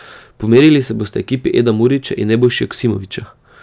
Pomerili se bosta ekipi Eda Murića in Nebojše Joksimovića.